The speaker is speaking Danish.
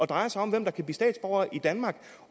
drejer sig om hvem der kan blive statsborger i danmark